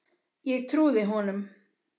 Ég trúði honum.